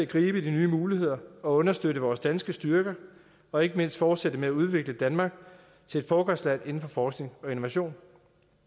gribe de nye muligheder og understøtte vores danske styrker og ikke mindst fortsætte med at udvikle danmark til et foregangsland inden for forskning og innovation